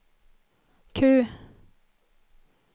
Q